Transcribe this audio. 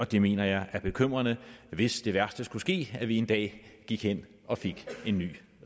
det mener jeg er bekymrende hvis det værste skulle ske og vi en dag gik hen og fik en ny